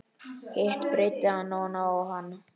Hitt breiddi hann oná hann.